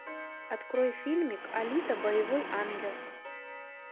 открой фильмик алита боевой ангел